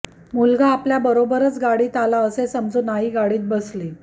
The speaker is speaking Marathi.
मुलगा आपल्याबरोबरच गाडीत आला असे समजून आई गाडीत बसली